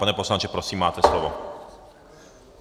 Pane poslanče, prosím, máte slovo.